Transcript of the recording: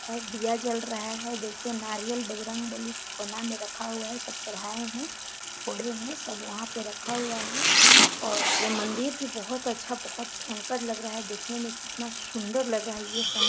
और दिया जल रहा है देखिये नारियल बजरंग बलि कोना में रखा हुआ सब चढ़ाये है फोड़े है सब वहाँ पे रखा हुआ है और ये मंदिर भी बहोत अच्छा बहोत भयंकर लग रहा है देखने में कितना सुन्दर लग रहा है ये समाय--